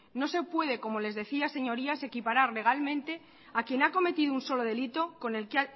no se puede como les decía señorías equiparar legalmente a quien ha cometido un solo delito con el que